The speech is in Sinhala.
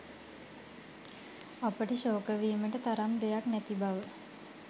අපට ශෝක වීමට තරම් දෙයක් නැති බව